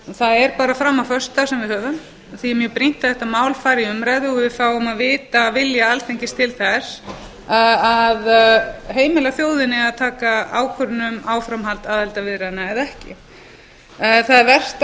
það er bara fram á föstudag sem við höfum og því er mjög brýnt að þetta mál fari í umræðu og við fáum að vita vilja alþingis til þess að heimila þjóðinni að taka ákvörðun um áframhald aðildarviðræðna eða ekki það er vert að hafa